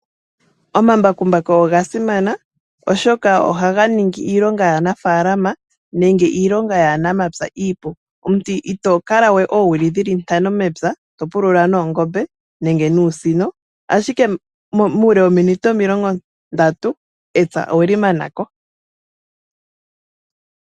Omambakumbaku oga simana oshoka oha ga ningi iilonga yaa nafalama nenge iilonga yaa namapya iipu. omuntu ito kalawe oowili dhili ntano mepya topulula noongobe nenge nuusino, ashike muule wominute omilongo ndatu epya oweli manako.